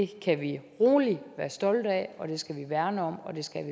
kan vi rolig være stolte af dem skal vi værne om